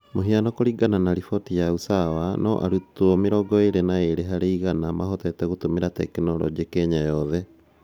Mũhiano, kũringana na riboti ya Usawa no arutwo 22 harĩ 100 mahotete gũtũmĩra tekinoronjĩ kenya yothe